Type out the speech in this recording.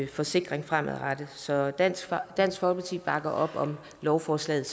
forsikring fremadrettet så dansk dansk folkeparti bakker op om lovforslaget